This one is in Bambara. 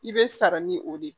I bɛ sara ni o de ye